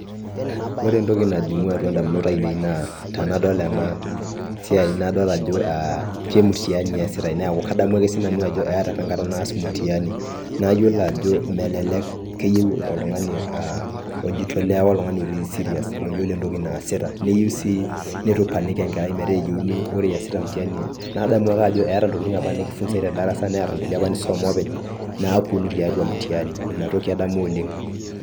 Ore entoki najing'u atwa indamunot ainei naa tenadol ena siai nadol ajo kemutiani eesitae, neeku kadamu ake siinanu ajo eeta opa enkata naas mtihani nayiolo ajo melelek keyieu oltung'ani oijitolea ake lotii serious loyiolo entoki naasita. Neyieu sii netu i panic enkerai metaa ore iyasita mtihani nadamu ajo eeta opa intokiting nekifunzae te darasa neeta nkulie opa nisom openy napwonu tiatwa mtihani ina toki adamu oleng